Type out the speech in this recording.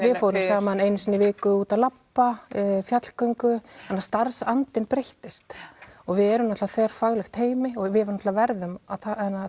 við fórum saman einu sinni í viku út að labba fjallgöngu þannig að starfsandinn breyttist og við erum náttúrulega þverfaglegt teymi og við náttúrulega verðum að